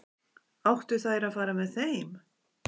Áttu þær að fara með þeim?